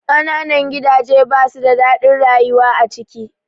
Ƙananan gidaje ba su da daɗin rayuwa a ciki